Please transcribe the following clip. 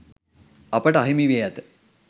අපට අහිමි වී ඇත